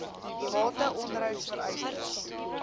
bate onderhouds vereistes